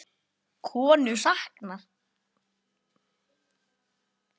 Konu saknað